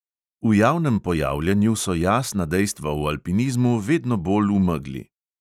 V javnem pojavljanju so jasna dejstva v alpinizmu vedno bolj v megli.